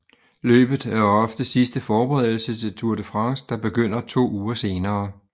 Løbet er ofte sidste forberedelse til Tour de France der begynder to uger senere